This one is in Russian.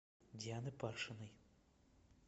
дианы паршиной